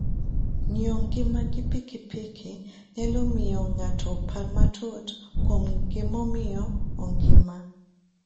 Ng'iyo ngima gi pikipiki nyalo miyo ng'ato opar matut kuom gimomiyo ongima.